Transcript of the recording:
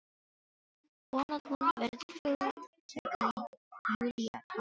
Von að hún verði fúl þegar Júlía talar um aldur.